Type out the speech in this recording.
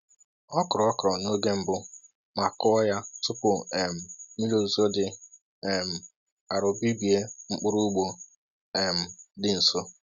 Ọ kụrụ okro n’oge mbụ ma kụọ ya tupu um mmiri ozuzo dị um arọ bibie mkpụrụ ugbo um dị nso.